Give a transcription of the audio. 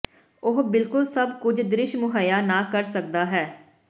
ਉਹ ਬਿਲਕੁਲ ਸਭ ਕੁਝ ਦ੍ਰਿਸ਼ ਮੁਹੱਈਆ ਨਾ ਕਰ ਸਕਦਾ ਹੈ